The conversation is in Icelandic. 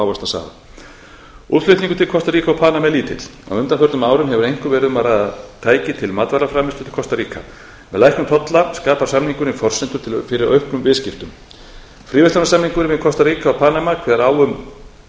ávaxtasafa útflutningur til kostaríka og panama er lítill á undanförnum árum hefur einkum verið um að ræða tæki til matvælaframleiðslu til kostaríka með lækkun tolla skapar samningurinn forsendur fyrir auknum viðskiptum fríverslunarsamningurinn við kostaríka og panama kveður á um